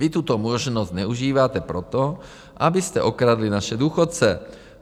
Vy tuto možnost zneužíváte proto, abyste okradli naše důchodce.